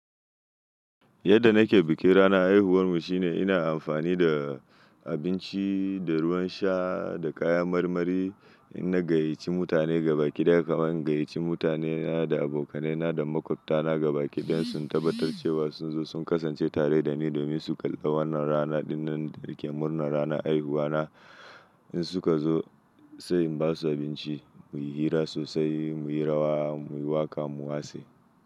Yadda nake bikin ranar haihuwarmu shine ina amfani da abinci da ruwan sha da kaya marmari. Inna gayyace mutane gabakiɗaya, kaman in gayyace mutanena da abokaina da maƙwabtana gabakiɗayansu in tabbatar cewa sunzo sun kasance tare dani domin su kalli wannan rana ɗinnan da nake murnan ranar haihuwana. In su ka zo sai in basu abinci, mu yi hira sosai, mu yi rawa, mu yi waƙa, mu wasa.